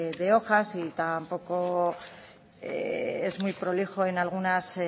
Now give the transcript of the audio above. de hojas y tampoco es muy prolijo en algunas